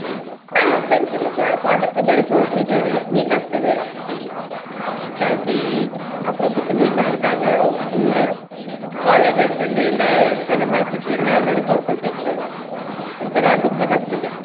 ಹಾ friends ಎಲ್ಲಸಾ contact ಇದ್ದರೆ, close ಇದ್ದಾರೆ meet ಆಗ್ತೆವೆ. meet ಆಗಿ, ಅಪ್ರೂಪಕ್ಕೆ meet ಆದಾಗ full college days ಅಲ್ಲಿ ಎಲ್ಲ ಎಂತೆಲ್ಲ ಮಾಡ್ತಿದ್ವಿ ಎಲ್ಲ ನೆನಪ್ ಮಾಡಕೊಳ್ತಾ ಇರ್ತೆವೆ, ಒಂತರಾ ಗಮ್ಮತ್ ಆಗ್ತದೆ.